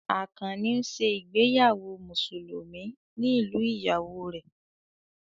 Àkànnì ń ṣe ìgbéyàwó Mùsùlùmí ní ìlú ìyàwó rẹ̀